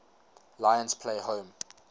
lions play home